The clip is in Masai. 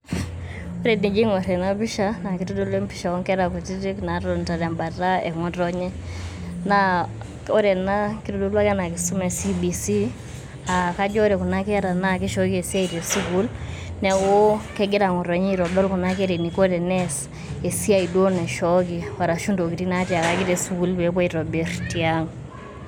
Ore enijo aing'orr ena pishaa naa keitodolu empisha oo nkera kutitik naatonita tebata ng'otonye naa ore ena keitodolu ena kisuma esibisi aa kajo ore Kuna Kera naa keishooki esiai te sukuul neaku kegira ng'otonye aitodol Kuna Kera eneiko tenees esiai duo naishoki arashu entokitin' naatiaki tesukuul peepoi aitobirr tiang'.